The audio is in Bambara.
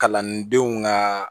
Kalandenw ka